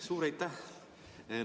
Suur aitäh!